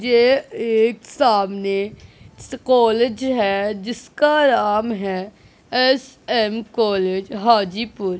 ये एक सामने कॉलेज हैं जिसका नाम हैं एस_एम कॉलेज हाजीपुर।